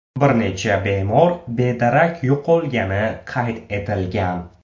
Bir necha bemor bedarak yo‘qolgani qayd etilgan.